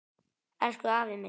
Elsku afi minn.